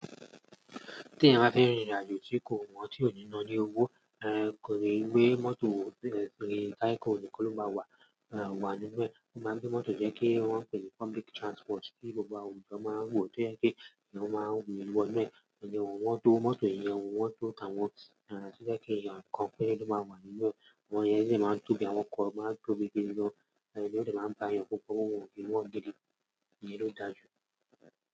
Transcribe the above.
Tí ẹ bá fẹ́ rìnrìn àjò tí kò wọ́n tí ò ní ná ní owó, ẹ kò rí ìwé mọ́tò, ẹ kò rí táìkì olùkọ́ ló bá wà, wà nínú ẹ̀. Ó máa ń gbé mọ́tò jẹ́ kí wọ́n pe public transport tí gbogbo awon èèyàn máa ń wọ̀ tó jẹ́ kí èèyàn máa n wọ̀ inú ẹ̀. Ìyẹn òun wọ́n tó mọ́tò ìyẹn, òun wọ́n tó àwọn, tó jẹ́ pé èèyàn kan péré ló máa ń wà nínú ẹ̀. Àwọn ènìyàn yí sì máa ń tóbi, àwọn ọkọ̀ máa ń tóbi gidi gan, èyí ló ti máa ń bá èèyàn pọ̀npọ́n, kí wọ́n ò gbé lọ gidi nìyẹn ló dàjú.